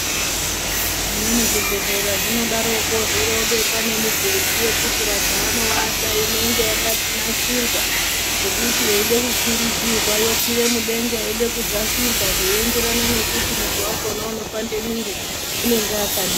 Zvimweni zvibhehlera zvinodaroko zvorobekwa nemibhedhu yekuti vantu vanowata inenge yakanasirwa zvokuti yeide kukwiridzirwa yokwire mudenga yeide kudzasirwa zvoenderane nekuti muntu wakona unopande muiri unenge akadini.